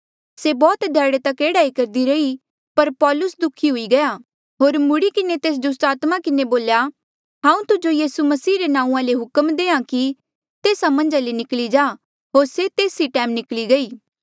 से बौह्त ध्याड़े तक एह्ड़ा ई करदी रही पर पौलुस दुखी हुई गया होर मुड़ी किन्हें तेस दुस्टात्मा किन्हें बोल्या हांऊँ तुजो यीसू मसीह रे नांऊँआं ले हुक्म देहां कि तेस्सा मन्झा ले निकली जा होर से तेस ई टैम निकली गई